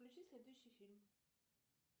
включи следующий фильм